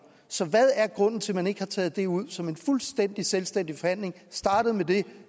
så hvad er grunden til at man ikke har taget det ud som en fuldstændig selvstændig forhandling er startet med det har